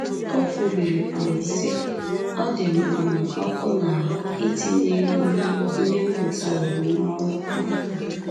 O kwubiri, um sị: “Ọ dị m um ọkụ n’ahụ́ itinye ihe ihe m gụtaworo n’ọrụ.” um